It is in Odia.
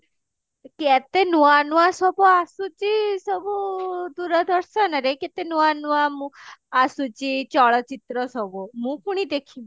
କେତେ ନୂଆ ନୂଆ ସବୁ ଆସୁଛି ସବୁ ଦୂରଦର୍ଶନ ରେ କେତେ ନୂଆ ନୂଆ ଉଁ ଆସୁଛି ଚଳଚିତ୍ର ସବୁ ମୁଁ ପୁଣି ଦେଖିମି